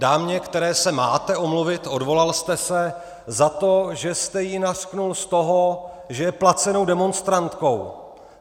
Dámě, které se máte omluvit - odvolal jste se - za to, že jste ji nařkl z toho, že je placenou demonstrantkou.